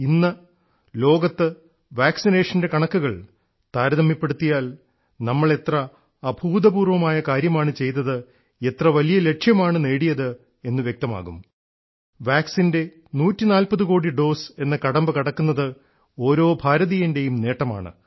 ഇന്ന് ലോകത്ത് വാക്സിനേഷൻറെ കണക്കുകൾ താരതമ്യപ്പെടുത്തിയാൽ നമ്മൾ എത്ര അഭൂതപൂർവ്വമായ കാര്യമാണ് ചെയ്തത് എത്ര വലിയ ലക്ഷ്യമാണ് നേടിയത് എന്ന് വ്യക്തമാകും വാക്സിൻറെ 140 കോടി ഡോസ് എന്ന കടമ്പകടക്കുന്നത് ഓരോ ഭാരതീയൻറേയും നേട്ടമാണ്